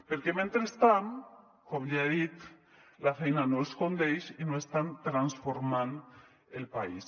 perquè mentrestant com ja he dit la feina no els condeix i no estan transformant el país